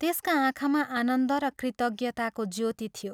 त्यसका आँखामा आनन्द र कृतज्ञताको ज्योति थियो।